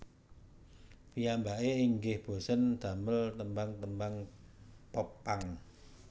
Piyambake inggih bosèn damel tembang tembang Pop punk